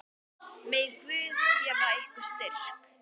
Megi Guð gefa ykkur styrk.